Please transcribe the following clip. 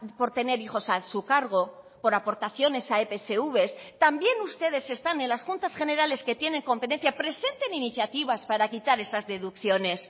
por tener hijos a su cargo por aportaciones a epsv también ustedes están en las juntas generales que tienen competencia presenten iniciativas para quitar esas deducciones